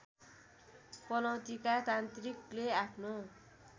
पनौतीका तान्त्रिकले आफ्नो